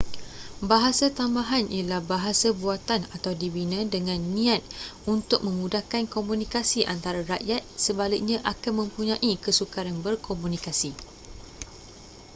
bahasa tambahan ialah bahasa buatan atau dibina dengan niat untuk memudahkan komunikasi antara rakyat sebaliknya akan mempunyai kesukaran berkomunikasi